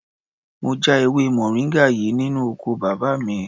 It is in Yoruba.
Mo já ewé moringa yìí nínú oko bàbá mi.